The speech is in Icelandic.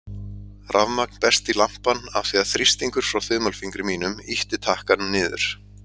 Rafmagn berst í lampann af því að þrýstingur frá þumalfingri mínum ýtti takkanum niður.